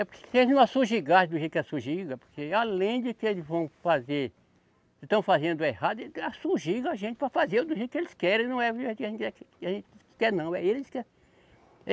É porque se eles não asugigasse do jeito que a asugiga, porque além de que eles vão fazer, estão fazendo errado, eles asugiga a gente para fazer do jeito que eles querem, não é do jeito que a gente quer não, é eles